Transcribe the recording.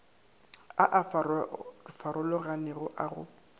a a farologanego a go